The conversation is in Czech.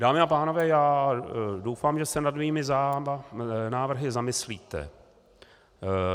Dámy a pánové, já doufám, že se nad mými návrhy zamyslíte.